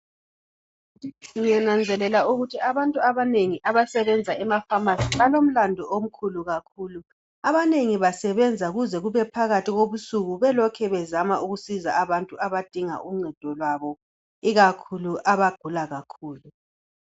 Ngiyananzelela ukuthi abantu abanengi abasebenza emafamasi balomlandu omkhulu kakhulu. Abanengi basebenza kuze kube phakathi kobusuku belokhe bezama ukusiza abantu abadinga uncedo lwabo ikakhulu abagula kakhulu.